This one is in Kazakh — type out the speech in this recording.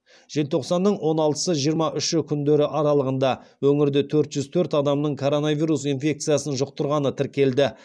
желтоқсанның он алтысы жиырма үші күндері аралығында өңірде төрт жүз төрт адамның коронавирус инфекциясын жұқтырғаны тіркелді